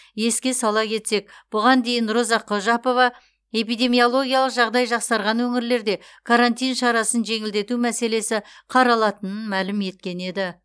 еске сала кетсек бұған дейін роза қожапова эпидемиологиялық жағдай жақсарған өңірлерде карантин шарасын жеңілдету мәселесі қаралатынын мәлім еткен еді